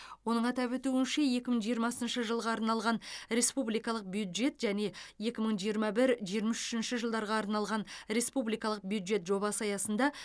оның атап өтуінше екі мың жиырмасыншы жылға арналған республикалық бюджет және екі мың жиырма бір жиырма үшінші жылдарға арналған республикалық бюджет жобасы аясында